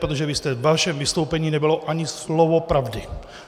Protože ve vašem vystoupení nebylo ani slovo pravdy.